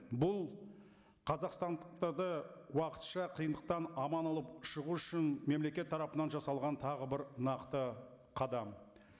бұл қазақстандықтарды уақытша қиындықтан аман алып шығу үшін мемлекет тарапынан жасалған тағы бір нақты қадам